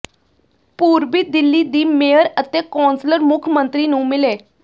ਪੂਰਬੀ ਦਿੱਲੀ ਦੀ ਮੇਅਰ ਅਤੇ ਕੌਂਸਲਰ ਮੁੱਖ ਮੰਤਰੀ ਨੂੰ ਮਿਲੇ